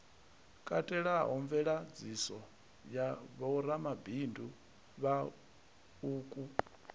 katelaho mveladziso ya vhoramabindu vhauku